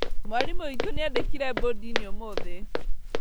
Mwarimũ witũ nĩandĩkire mbondi-inĩ ũmũthĩ